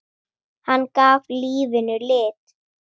Hann gaf lífinu lit.